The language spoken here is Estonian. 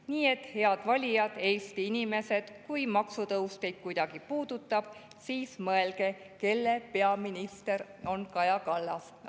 Nii et, head valijad, Eesti inimesed, kui maksutõus teid kuidagi puudutab, siis mõelge, kelle peaminister on Kaja Kallas.